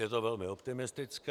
Je to velmi optimistické.